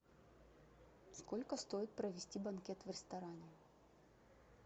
сколько стоит провести банкет в ресторане